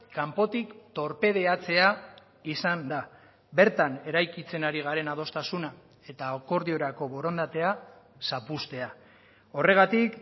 kanpotik torpedeatzea izan da bertan eraikitzen ari garen adostasuna eta akordiorako borondatea zapuztea horregatik